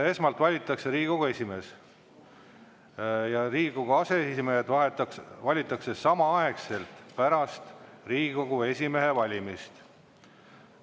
Esmalt valitakse Riigikogu esimees ja Riigikogu aseesimehed valitakse samaaegselt pärast Riigikogu esimehe valimist.